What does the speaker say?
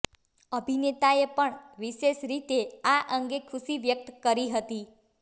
અભિનેતાએ પણ વિશેષ રીતે આ અંગે ખુશી વ્યક્ત કરી હતી